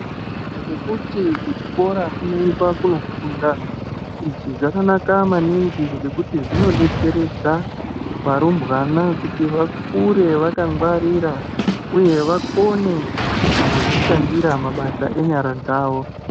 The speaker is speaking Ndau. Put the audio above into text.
Ngekuti kuchikora kunoendwa kunofundwa. Izvi zvakanaka maningi ngekuti zvinodetseredza, varumbwana kuti vakure vakangwarira, uye vakone kuzodzishandira mabasa yenyara dzavo.